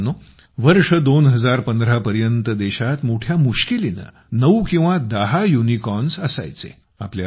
मित्रांनो वर्ष 2015 पर्यंत देशात मोठ्या मुश्किलीनं नऊ किंवा दहा युनिकॉर्न्स असायचे